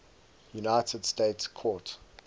united states court